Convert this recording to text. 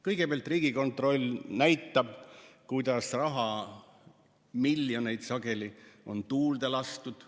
Kõigepealt Riigikontroll näitab, kuidas on raha, sageli miljoneid, tuulde lastud.